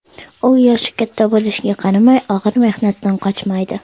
U yoshi katta bo‘lishiga qaramay, og‘ir mehnatdan qochmaydi.